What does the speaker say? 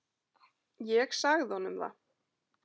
Ég sagði honum það!